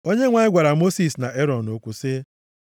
Onyenwe anyị gwara Mosis na Erọn okwu sị,